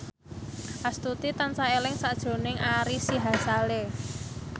Astuti tansah eling sakjroning Ari Sihasale